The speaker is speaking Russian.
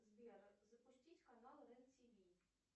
сбер запустить канал рен тв